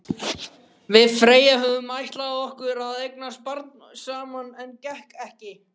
Við Freyja höfðum ætlað okkur að eignast barn saman, en það gekk ekki.